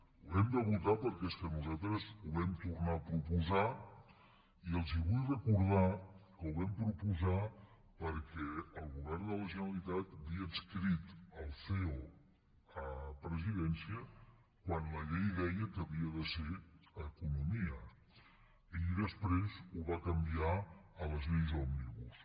ho hem de votar perquè és que nosaltres ho vam tornar a proposar i els vull recordar que ho vam proposar perquè el govern de la generalitat havia adscrit el ceo a la presidència quan la llei deia que havia de ser a economia i després ho va canviar a les lleis òmnibus